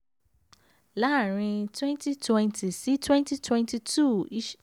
láàrin twenty twenty-twenty twenty two